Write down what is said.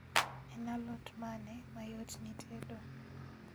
En alot mane mayot ni tedo?